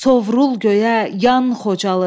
Sovrul göyə, yan Xocalı.